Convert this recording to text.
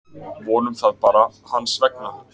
Vonum það bara, hans vegna.